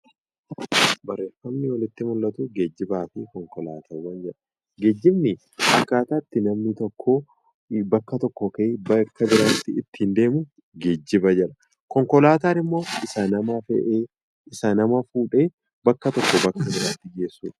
Barreeffamni olitti mul'atuu geejjibaa fi konkolaataawwan jedha. Geejjibni akkaataa itti namni tokkoo bakka tokkoo ka'ee bakka biraatti ittiin deemuu geejjiba jedhama. Konkolaataan immoo isa nama fe'ee isa nama fuudhee bakka tokkoo bakka biraatti geessudha.